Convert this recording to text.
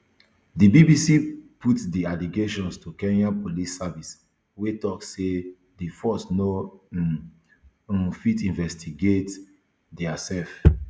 di bbc put di allegations to kenya police service wey tok say di force no um um fit investigate diasef